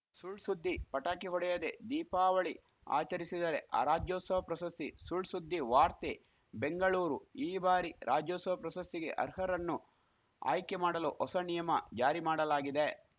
ಸುಳ್‌ ಸುದ್ದಿ ಪಟಾಕಿ ಹೊಡೆಯದೇ ದೀಪಾವಳಿ ಆಚರಿಸಿದರೆ ಅ ರಾಜ್ಯೋತ್ಸವ ಪ್ರಶಸ್ತಿ ಸುಳ್‌ಸುದ್ದಿ ವಾರ್ತೆ ಬೆಂಗಳೂರು ಈ ಬಾರಿ ರಾಜ್ಯೋತ್ಸವ ಪ್ರಶಸ್ತಿಗೆ ಅರ್ಹರನ್ನು ಆಯ್ಕೆ ಮಾಡಲು ಹೊಸ ಣಿಯಮ ಜಾರಿ ಮಾಡಲಾಗಿದೆ